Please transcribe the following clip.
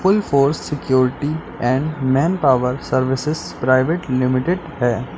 Force security and manpower services private limited है।